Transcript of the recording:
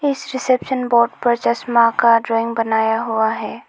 इस reception board पर चश्मा का रिंग बनाया हुआ है।